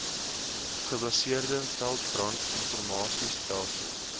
gebaseerde veldbrand informasiestelsel